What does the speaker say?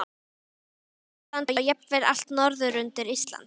Hjaltlands og jafnvel allt norður undir Ísland.